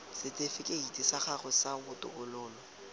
setifikeiti sa gago sa botokololo